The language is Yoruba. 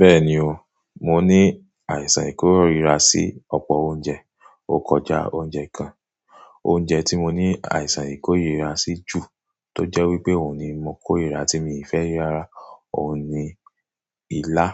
Bẹ́ẹ̀ni o, mo ní àìsàn ìkórìíra sí ọ̀pọ̀ oúnjẹ. Ó kọjá oúnjẹ gan. Oúnjẹ tí mo ní àìsàn ìkórìíra sí jù tó jẹ́ wípé òun ni mo ń kórìíra tí mi ì fẹ́ rárá, òun ni ilá